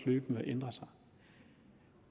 løbende ændrer sig